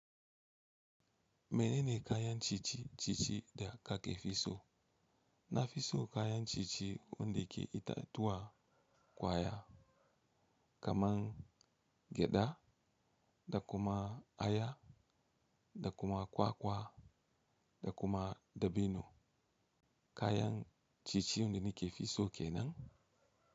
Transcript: Menene kayan ciye-ciye da ka ke fi so? Na fi so kayan ciye-ciye wanda ke itatuwa kwaya kaman gyada da kuma aya da kuma kwakwa, da kuma dabino. Kayan cinye-cinye wanda ni ke fi so kenan.